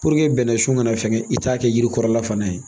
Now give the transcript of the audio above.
bɛnnɛsun kana fɛŋɛ i t'a kɛ yiri kɔrɔla fana ye